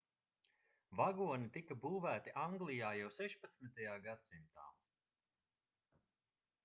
vagoni tika būvēti anglijā jau 16. gadsimtā